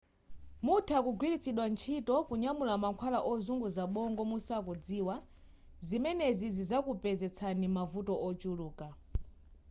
mutha kugwiritsidwa ntchito kunyamula mankhwala ozunguza bongo musakudziwa zimenezi zizakupezetsani mavuto ochuluka